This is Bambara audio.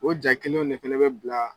O jaa kelenw ne fana bɛ bila